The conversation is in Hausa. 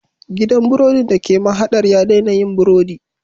Gidan burodin da ke mahadar ya daina yin burodi